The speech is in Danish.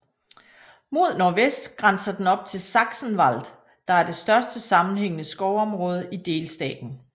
Mod nordvest grænser den op til Sachsenwald der er det største sammenhængende skovområde i delstaten